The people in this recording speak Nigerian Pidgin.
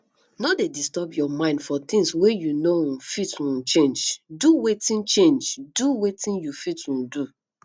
no dey disturb your mind for things wey you no um fit um change do wetin change do wetin you fit um do